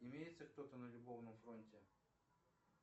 имеется кто то на любовном фронте